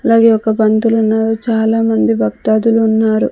అలాగే ఒక పంతులున్నారు చాలా మంది భక్తాదులున్నారు.